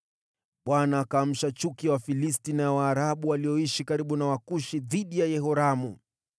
Bwana akaamsha chuki ya Wafilisti na ya Waarabu walioishi karibu na Wakushi dhidi ya Yehoramu.